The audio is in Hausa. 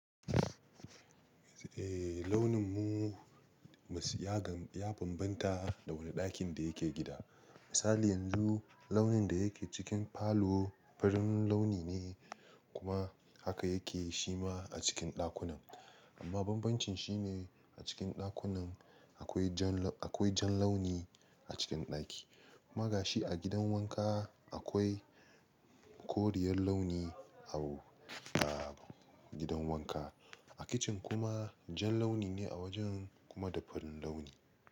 Eh launin mu ya banbanta da wani ɗakin da yake gida. Misali yanzu launin da yake cikin falo farin launi ne kuma haka yake shi ma a cikin ɗakunan. Amma banbancin shi ne a cikin ɗakunan akwai jan launi a cikin ɗaki. Ma gashi a gidan wanka akwai koriyar launi a gidan wanka. A kicin kuma jan launi ne a wajen kuma da farin launi.